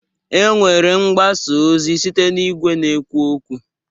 E nwere mgbasa ozi site n'igwe na-ekwu okwu.